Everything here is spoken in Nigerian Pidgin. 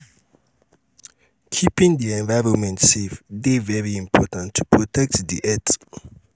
keeping the environment safe de very important to protect di earth